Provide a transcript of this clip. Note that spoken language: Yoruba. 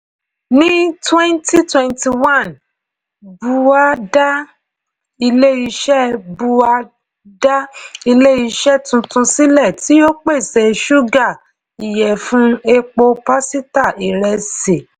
ní twenty twenty one bua dá ilé-iṣẹ́ bua dá ilé-iṣẹ́ tuntun sílẹ̀ tí ó pèsè ṣúgà ìyẹ̀fun epo pásítà ìrẹsì.